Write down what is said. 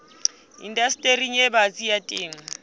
indastering e batsi ya temo